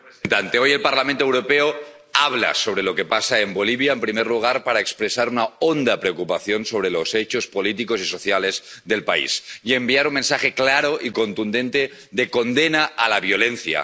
Señora presidenta, alta representante, hoy el Parlamento Europeo habla sobre lo que pasa en Bolivia. En primer lugar, para expresar una honda preocupación sobre los hechos políticos y sociales del país y enviar un mensaje claro y contundente de condena a la violencia.